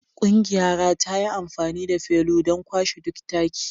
Ƙungiyara ta yi amfani da felu don kwashe duk taki